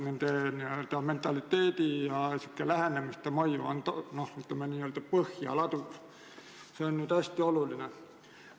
Õpetaja mentaliteedi ja lähenemiste mõju laob põhja ja see on hästi oluline.